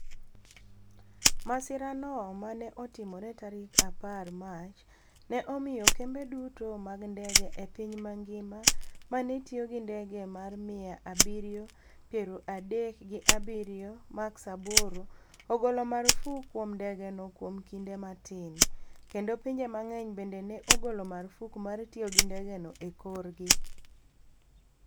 Masirano ma ne otimore tarik apar Mach, ne omiyo kembe duto mag ndege e piny mangima ma ne tiyo gi ndege mar mia abirio pero adek gi abiriyo max aboro ogolo marfuk kuom ndegeno kuom kinde matin, kendo pinje mang'eny bende ne ogolo marfuk mar tiyo gi ndegeno e korgi.